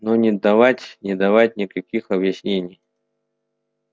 но не давать не давать никаких объяснений